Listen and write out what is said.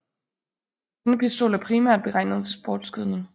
Denne pistol er primært beregnet til sportsskydning